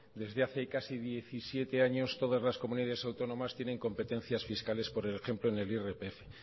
desde hace casi diecisiete años todas las comunidades autónomas tienen competencias fiscales por ejemplo en el irpf